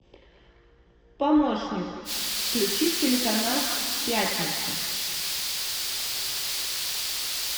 помощник включи телеканал пятница